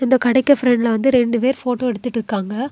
இந்த கடைக்கு பிரண்ட்ல வந்து ரெண்டு பேர் போட்டோ எடுத்துட்டு இருக்காங்க.